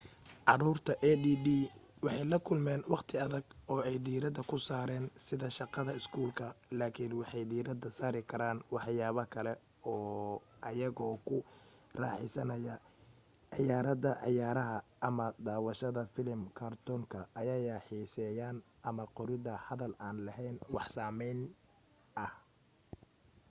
caruurta add waxay la kulmeen waqti adag oo ay diirada ku saran sida shaqada iskuulka laakin waxay diirada saari karaan waxyaabaha kale ee ayago ku raxeysanaya ciyaarida ciyaaraha ama daawashahda filim kartoonka ayaya xiseeyaan ama qorida hadal aan laheyn wax astaameyn ah